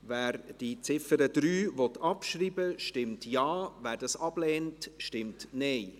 Wer die Ziffer 3 abschreiben will, stimmt Ja, wer dies ablehnt, stimmt Nein.